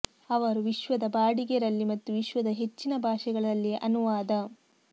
ಅವರು ವಿಶ್ವದ ಬಾಡಿಗೆ ರಲ್ಲಿ ಮತ್ತು ವಿಶ್ವದ ಹೆಚ್ಚಿನ ಭಾಷೆಗಳಲ್ಲಿ ಅನುವಾದ